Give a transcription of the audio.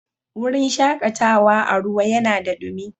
Wurin shakatawa a ruwa yanada dumi.